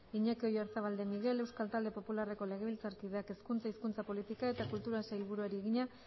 iñaki oyarzabal de miguel euskal talde popularreko legebiltzarkideak hezkuntza hizkuntza politika eta kulturako sailburuari egina